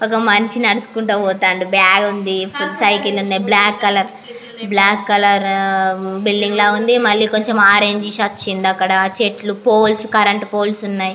ఒక మనిషి నడుచుకుంటూ పోతుండు. బ్యాగ్ ఉంది. ఫుట్ సైకిల్ ఉన్నాయి. Black colour black colour building లాగా ఉంది. మరియు కొంచం ఆరంజష్ వచ్చిది. అక్కడా చెట్లు పోల్స్ కరెంటు పోల్స్ ఉన్నాయి.